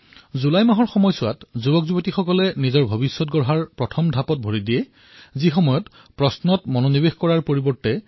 July মাহত যুৱকযুৱতীয়ে ফকাচ প্ৰশ্নৰ পৰা আঁতৰি কাটঅফলৈ গুচি যায়